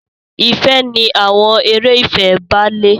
Ìfẹ ni àwọn eré ìfẹ bàlé.